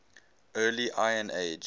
early iron age